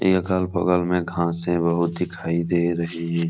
ये अगल-बगल में घासे बहुत दिखाई दे रही हैं।